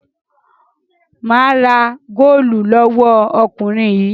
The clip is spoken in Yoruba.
Mà á ra góólù lọ́wọ́ ọkùnrin yìí.